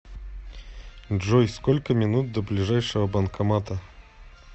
джой сколько минут до ближайшего банкомата